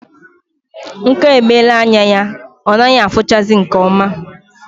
Nka emela anya ya ọ naghị afuchazi nke oma